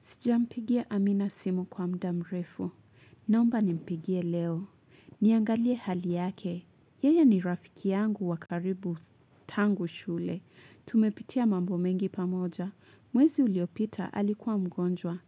Sijampigia amina simu kwa muda mrefu. Naomba nimpigie leo. Niangalie hali yake. Yeye ni rafiki yangu wa karibu tangu shule. Tumepitia mambo mengi pamoja. Mwezi uliopita alikuwa mgonjwa.